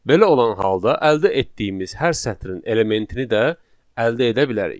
Belə olan halda əldə etdiyimiz hər sətrin elementini də əldə edə bilərik.